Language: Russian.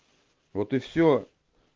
вот и всё